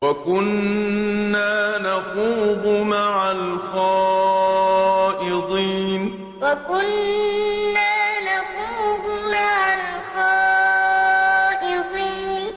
وَكُنَّا نَخُوضُ مَعَ الْخَائِضِينَ وَكُنَّا نَخُوضُ مَعَ الْخَائِضِينَ